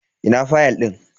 Ina fayal din?